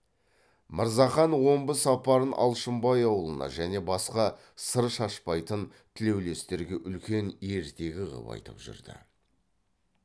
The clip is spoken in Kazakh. мырзахан омбы сапарын алшынбай аулына және басқа сыр шашпайтын тілеулестерге үлкен ертегі қып айтып жүрді